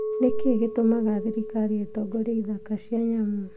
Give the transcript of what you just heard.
"Nĩ kĩĩ gĩtũmaga thirikari ĩtongorie ithaka cia nyamũ?